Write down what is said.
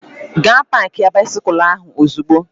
Gaa paakia baisikụl ahụ ozugbo!